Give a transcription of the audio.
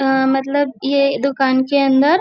अह मतलब यह दूकान के अन्दर।